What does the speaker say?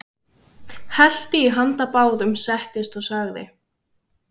Hellti í handa báðum, settist og sagði